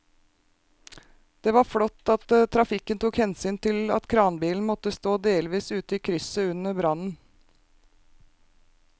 Det var flott at trafikken tok hensyn til at kranbilen måtte stå delvis ute i krysset under brannen.